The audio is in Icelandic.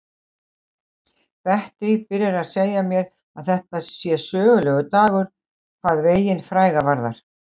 Bettý byrjar á að segja mér að þetta sé sögulegur dagur hvað veginn fræga varðar.